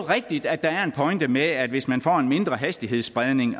rigtigt at der er en pointe med at hvis man får en mindre hastighedsspredning